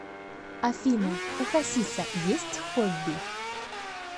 афина у хасиса есть хобби